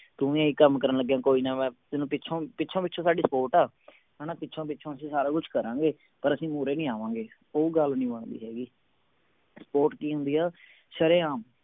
ਤੂੰ ਵੀ ਇਹੀ ਕੰਮ ਕਰਨ ਲੱਗੀਆਂ ਮੈਂ ਤੈਨੂੰ ਪਿੱਛੋਂ ਪਿੱਛੋਂ ਸਾਡੀ support ਆ ਹਣਾ ਪਿੱਛੋਂ ਪਿੱਛੋਂ ਅਸੀਂ ਸਾਰਾ ਕੁਝ ਕਰਾਂਗੇ ਪਰ ਅਸੀਂ ਮੂਹਰੇ ਨਹੀਂ ਆਵਾਂਗੇ ਉਹ ਗੱਲ ਨਹੀਂ ਬਣਦੀ ਹੈਗੀ support ਕਿ ਹੁੰਦੀ ਆ ਸ਼ਰੇਆਮ